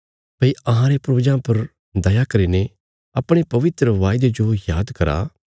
भई अहांरे पूर्वजां पर दया करीने अपणे पवित्र वायदे जो पूरा करो